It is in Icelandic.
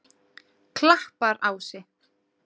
Klapparási